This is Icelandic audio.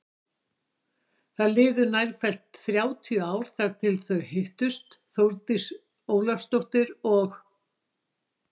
Það liðu nærfellt þrjátíu ár þar til þau hittust Þórdís Ólafsdóttir og